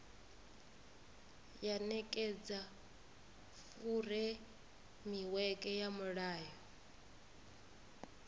ya nekedza furemiweke ya mulayo